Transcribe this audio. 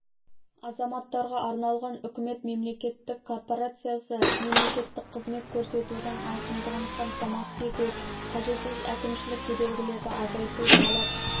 азаматтарға арналған үкімет мемлекеттік корпорациясы мемлекеттік қызмет көрсетудің айқындығын қамтамасыз ету қажетсіз әкімшілік кедергілерді азайту талап